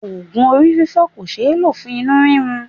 Ogun orí fifo kò sé lo fún inú rirun.